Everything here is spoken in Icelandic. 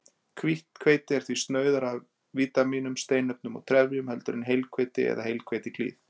Hvítt hveiti er því snauðara af vítamínum, steinefnum og trefjum heldur en heilhveiti eða hveitiklíð.